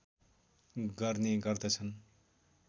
गर्ने गर्दछन्